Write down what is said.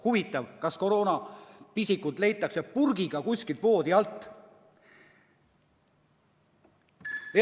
Huvitav, kas koroonapisikut loodetakse leida purgiga kuskilt voodi alt?